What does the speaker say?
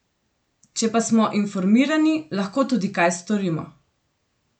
Če pa smo informirani, lahko tudi kaj storimo.